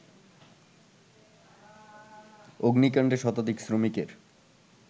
অগ্নিকাণ্ডে শতাধিক শ্রমিকের